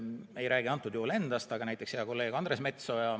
Ma ei räägi antud juhul endast, aga näiteks hea kolleeg Andres Metsoja.